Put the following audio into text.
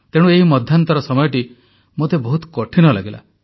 ତେଣୁ ଏହି ମଧ୍ୟାନ୍ତର ସମୟଟି ମୋତେ ବହୁତ କଠିନ ଲାଗିଲା